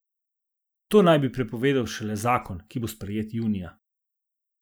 To naj bi prepovedal šele zakon, ki bo sprejet junija.